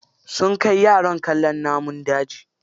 Sun kai yaran kallon namun daji.